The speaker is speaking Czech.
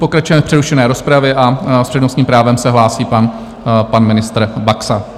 Pokračujeme v přerušené rozpravě a s přednostním právem se hlásí pan ministr Baxa.